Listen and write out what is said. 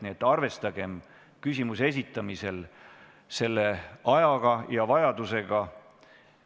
Nii et arvestagem küsimuse esitamisel selle vajadusega ja ajaga.